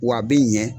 W'a bi ɲɛ